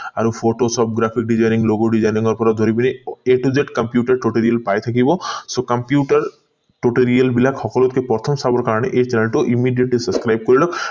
আৰু photoshop graphic designing logo designing পৰা ধৰি পিনি a to z computer totally পাই থাকিব so computer tutorial বিলাক সকলোতকৈ প্ৰথম চাবৰ কাৰণে এই channel টো immediately subscribe কৰি লওক